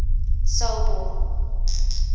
selborne